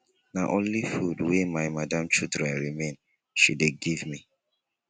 na only food wey my madam children remain she dey give me